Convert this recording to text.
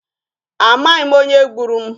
A maghi m onye gburu mụ.